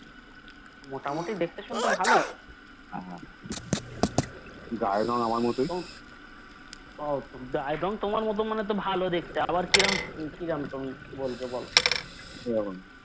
মোটামুটি দেখতে শুনতে ভালো তো গায়ের রং তোমার মত বলতে তো ভালো দেখতে আবার কিরকম কিরকম তুমি বলবে বলো